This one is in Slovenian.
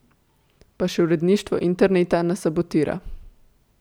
Pa še uredništvo interneta nas sabotira.